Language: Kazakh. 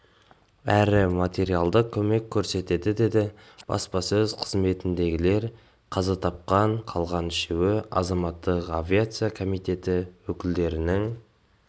әрі материалдық көмек көрсетеді деді баспасөз қызметіндегілер қаза тапқан қалған үшеуі азаматтық авиация комитеті өкілдерінің